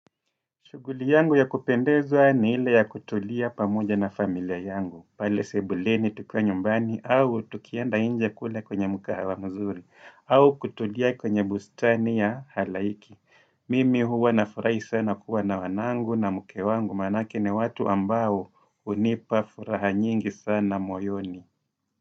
Shughuli yangu ya kupendezwa ni ile ya kutulia pamoja na familia yangu. Pale sebuleni tukiwa nyumbani au tukianda nje kule kwenye mkahawa mzuri. Au kutulia kwenye bustani ya halaiki. Mimi huwa nafurahi sana kuwa na wanangu na mke wangu maanake ni watu ambao hunipa furaha nyingi sana moyoni.